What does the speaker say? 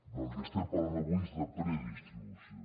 del que estem parlant avui és de predistribució